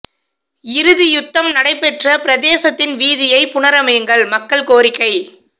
இறுதி யுத்தம் இடம்பெற்ற பிரதேசத்தின் வீதியை புனரமையுங்கள் மக்கள் கோரிக்கை